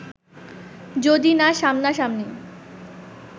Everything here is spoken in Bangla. যদি না সামনাসামনি